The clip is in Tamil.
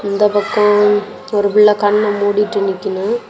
இந்தப் பக்கோ ஒரு புள்ள கண்ண மூடிட்டு நிக்கிணு.